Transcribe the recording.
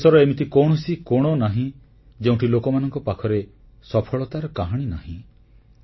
ଦେଶର ଏମିତି କୌଣସି କୋଣ ନାହିଁ ଯେଉଁଠି ଲୋକମାନଙ୍କ ପାଖରେ ସଫଳତାର କାହାଣୀ ନାହିଁ